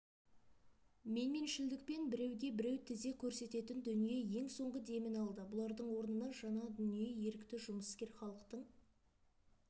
менменшілдікпен біреуге-біреу тізе көрсететін дүние ең соңғы демін алды бұлардың орнына жаңа дүние ерікті жұмыскер халықтың